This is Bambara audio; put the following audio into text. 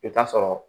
I bɛ taa sɔrɔ